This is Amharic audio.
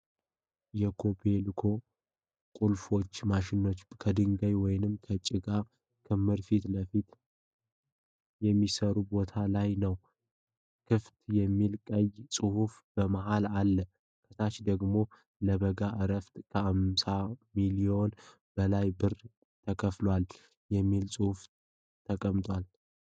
የኮቤልኮ ቁፋሮ ማሽን ከድንጋይ ወይም ከጭቃ ክምር ፊት ለፊት በሚሠራበት ቦታ ላይ ነው። ክፍት የሚል ቀይ ጽሑፍ በመሀል አለ። ከታች ደግሞ ለበጋ ዕረፍት ከ 58 ሚሊዮን በላይ ብር ተከፈለ የሚል ጽሑፍ ተቀምጧል።